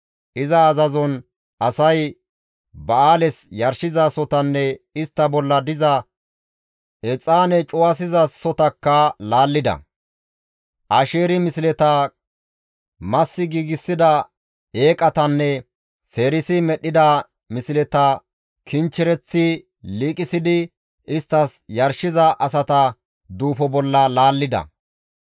Iza azazon asay Ba7aales yarshizasohotanne istta bolla diza exaane cuwasizasotakka laallida; Asheeri misleta, massi giigsida eeqatanne seerisi medhdhida misleta kinchchereththi liiqisidi isttas yarshiza asata duufo bolla laallida.